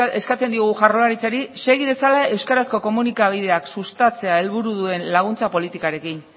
segi eskatzen diogu jaurlaritzari segi dezala euskarazko komunikabideak sustatzea helburu duen laguntza politikarekin